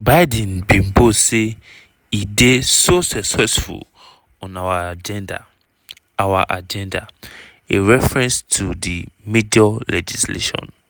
biden bin boast say e dey "so successful on our agenda" our agenda" – a reference to di major legislation